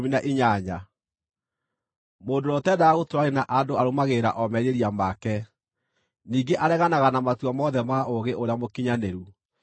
Mũndũ ũrĩa ũtendaga gũtũũrania na andũ arũmagĩrĩra o merirĩria make; ningĩ areganaga na matua mothe ma ũũgĩ ũrĩa mũkinyanĩru.